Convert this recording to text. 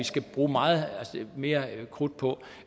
skal bruge meget mere krudt på